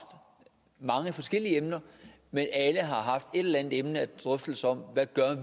mange forskellige emner men alle har haft et eller andet emne og drøftelse om hvad